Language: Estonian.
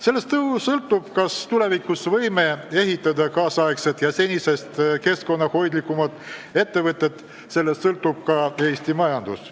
Sellest sõltub, kas tulevikus võime ehitada nüüdisaegseid ja senisest keskkonnahoidlikumaid ettevõtteid, sellest sõltub ka Eesti majandus.